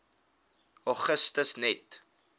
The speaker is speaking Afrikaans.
augustus net